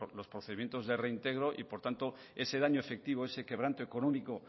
los procedimientos de reintegro y por tanto ese daño efectivo ese quebranto económico